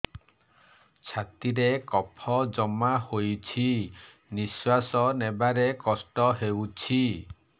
ଛାତିରେ କଫ ଜମା ହୋଇଛି ନିଶ୍ୱାସ ନେବାରେ କଷ୍ଟ ହେଉଛି